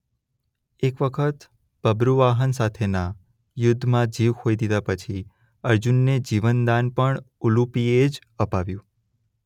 એક વખત બબ્રુવાહન સાથેના યુદ્ધમાં જીવ ખોઈ દીધાં પછી અર્જુનને જીવન દાન પણ ઉલુપિએ જ અપાવ્યું.